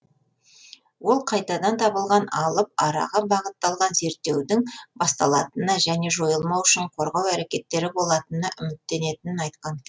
ол қайтадан табылған алып араға бағытталған зерттеудің басталатынына және жойылмауы үшін қорғау әрекеттері болатынына үміттенетінін айтқан